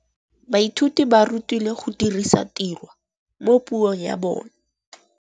Baithuti ba rutilwe go dirisa tirwa mo puong ya bone.